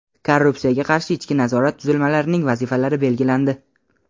Korrupsiyaga qarshi ichki nazorat tuzilmalarining vazifalari belgilandi.